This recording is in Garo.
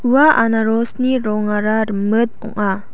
ua anarosni rongara rimit ong·a.